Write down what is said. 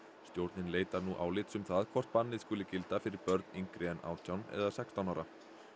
stjórnin leitar nú álits um það hvort bannið skuli gilda fyrir börn yngri en átján eða sextán ára